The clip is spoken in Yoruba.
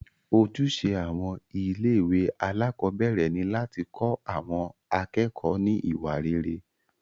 Ojúṣe àwọn ilé ìwé alákọ̀berẹ̀ ni láti kọ́ àwọn akẹ́kọ̀ọ́ ní iwa rere.